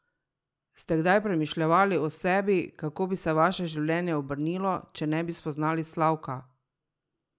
Ste kdaj premišljevali o sebi, kako bi se vaše življenje obrnilo, če ne bi spoznali Slavka?